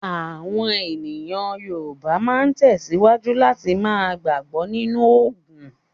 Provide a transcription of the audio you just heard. Àwọn èèyàn Yorùbá máa tẹ̀síwájú láti ma gbàgbọ́ nínú ògùn.